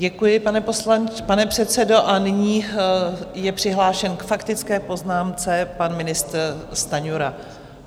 Děkuji, pane předsedo, a nyní je přihlášen k faktické poznámce pan ministr Stanjura.